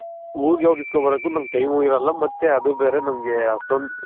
ಊರ್ಗ್ ಗೆ ಹೋಗ್ ಇಸ್ಕೊಂಡ್ ಬರಾಕ್ ನನ್ಗೆ Time ಇರಲ್ಲ ಮತ್ತೆ ಅದು ಬೇರೆ ನನ್ಗೆ ಅಷ್ಟೊಂದ್